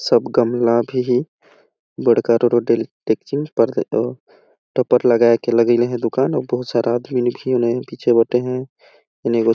सब गमला भी हे बड़का आरा डेकची में टोपर लगाए के लगइले हे दुकान अऊ बहुत सारा आदमी मन पीछे बैइठे हे।